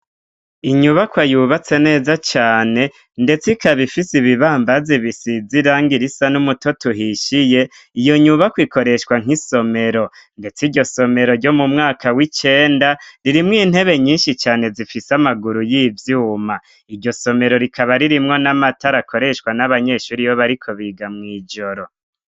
Inyubakwa yubatse neza cane. Ndetse ikaba ifise ibibambazi bisize irangi risa n'umutoto uhishiye. Iyo nyubakwa ikoreshwa nk'isomero. Ndetse iryo somero ryo mu mwaka w'icenda ririmwo intebe nyinshi cane, zifise amaguru y'ivyuma. Iryo somero rikaba ririmwo n'amatara akoreshwa n'abanyeshure iyo bariko biga mw'ijoro.